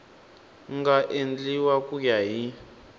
nga endliwa ku ya hi